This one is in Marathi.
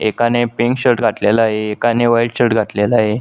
एका ने पिंक शर्ट घातलेला आहे एकाने व्हाइट शर्ट घातलेला आहे.